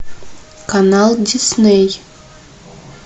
канал дисней